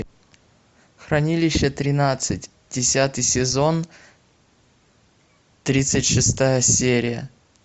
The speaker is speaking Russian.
хранилище тринадцать десятый сезон тридцать шестая серия